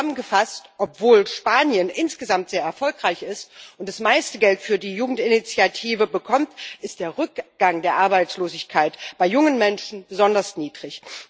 Zusammengefasst Obwohl Spanien insgesamt sehr erfolgreich ist und das meiste Geld für die Jugendinitiative bekommt, ist der Rückgang der Arbeitslosigkeit bei jungen Menschen besonders niedrig.